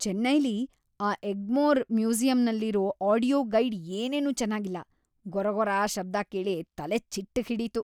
ಚೆನ್ನೈಲಿ ಆ ಎಗ್ಮೋರ್ ಮ್ಯೂಸಿಯಮ್ಮಲ್ಲಿರೋ audio guide ಏನೇನೂ ಚೆನಾಗಿಲ್ಲ, ಗೊರಗೊರ ಶಬ್ದ ಕೇಳಿ ತಲೆಚಿಟ್ಟ್‌ ಹಿಡೀತು.